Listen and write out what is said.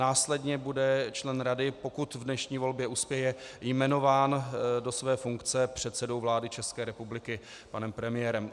Následně bude člen rady, pokud v dnešní volbě uspěje, jmenován do své funkce předsedou vlády České republiky, panem premiérem.